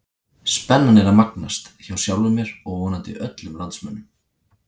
Spennan er að magnast, hjá sjálfum mér og vonandi öllum landsmönnum!